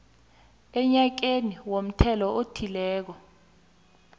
enyakeni womthelo othileko